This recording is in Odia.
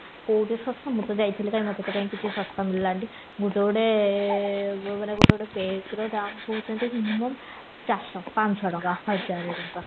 କୋଉଠି ସସ୍ଥା ମୁଁ ତ ଯାଇଥିଲି କାଇଁ ମତେ ତ କାଇଁ କିଛି ସସ୍ଥା ମିଳିଲାନି ଗୋଟେ ଗୋଟେ ମାନେ ଗୋଟେ ଗୋଟେ ବେଗର ଦାମ କହୁଚନ୍ତି minimum ଚାରିଶହ ପାଞ୍ଚଶହ ହଜାରେ ଟଙ୍କା